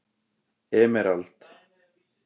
Emerald